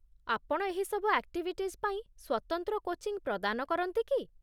ଆପଣ ଏହି ସବୁ ଆକ୍ଟିଭିଟିଜ୍ ପାଇଁ ସ୍ୱତନ୍ତ୍ର କୋଚିଙ୍ଗ୍ ପ୍ରଦାନ କରନ୍ତି କି?